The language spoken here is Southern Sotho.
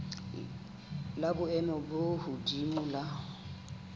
la boemo bo hodimo la